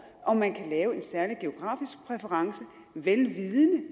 om man kan lave en særlig geografisk præference vel vidende